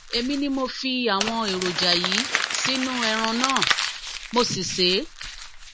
èmi ni mo fi àwọn èròjà yìí sínú ẹran náà mo sì sè é